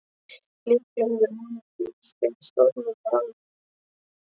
Líklega hefur honum ekki litist beint stórmannlega á mig.